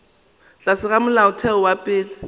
tlase ga molaotheo wa pele